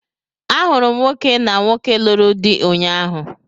A hụrụ m nwoke na nwoke lụrụ di ụnyaahụ.